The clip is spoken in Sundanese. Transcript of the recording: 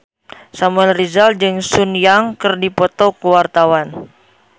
Samuel Rizal jeung Sun Yang keur dipoto ku wartawan